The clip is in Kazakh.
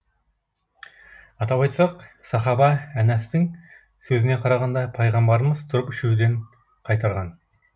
атап айтсақ сахаба әнәстың сөзіне қарағанда пайғамбарымыз тұрып ішуден қайтарған